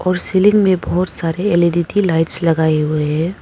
और सीलिंग में बहुत सारे एल_ई_डी की लाइट्स लगाए हुए हैं।